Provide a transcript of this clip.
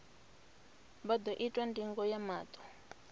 vha ḓo itwa ndingo ya maṱo